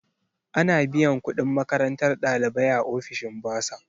Ana biyan kudin makarantar ɗalibai a ofishin bursar.